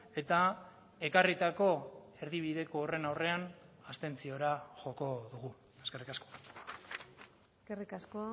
eta ekarritako erdibideko horren aurrean abstentziora joko dugu eskerrik asko eskerrik asko